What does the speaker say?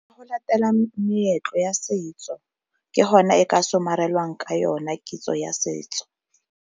Go latela meetlo ya setso, ke hona e ka somarelang ka yona kitso ya setso.